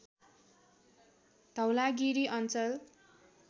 धौलागिरी अञ्चल